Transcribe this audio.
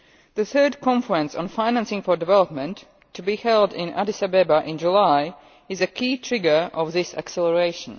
The third Conference on Financing for Development to be held in Addis Ababa in July is a key trigger of this acceleration.